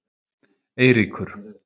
Eiríkur